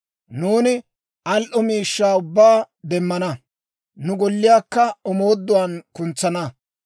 Nuuni al"o miishshaa ubbaa demmana; nu golliyaakka omooduwaan kuntsana;